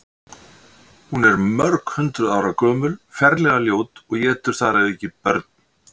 Hún er mörghundruð ára gömul, ferlega ljót og étur þar að auki börn.